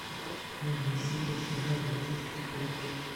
новые серии сериала полицейский с рублевки